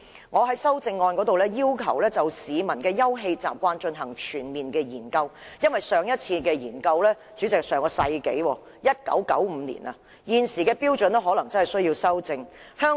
我在修正案中要求政府就市民的休憩習慣進行全面研究，因為上一次進行研究已是上世紀1995年的事，現時的標準可能有需要作出修訂。